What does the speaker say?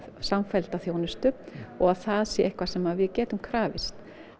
samfellda þjónustu og að það sé eitthvað sem við getum krafist